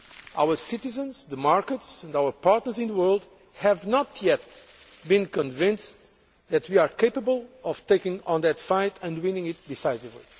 Our citizens, the markets and our partners in the world have not yet been convinced that we are capable of taking on that fight and winning it decisively.